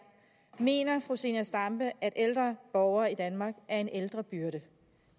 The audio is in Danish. mener fru zenia stampe at ældre borgere i danmark er en ældrebyrde